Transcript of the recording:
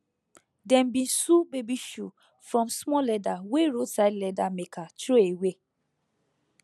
dem bin sew baby shoe from small leather wey roadside leather maker throwaway